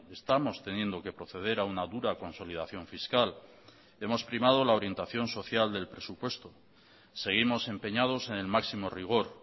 estamos teniendo que proceder a una dura consolidación fiscal hemos primado la orientación social del presupuesto seguimos empeñados en el máximo rigor